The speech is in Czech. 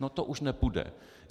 No to už nepůjde.